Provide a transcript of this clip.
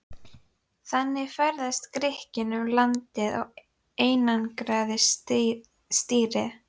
Þannig ferðaðist Grikkinn um landið og einangraði stýri.